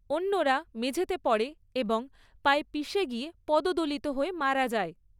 অন্যরা মেঝেতে পড়ে এবং পায়ে পিশে গিয়ে পদদলিত হয়ে মারা যায়।